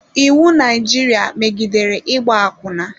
Iwu Naijiria megidere ịgba akwụna.